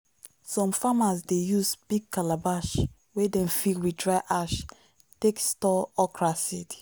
some farmers dey use big calabash wey dem fill with dry ash take store okra seed.